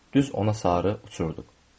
Düz ona sarı uçurduq.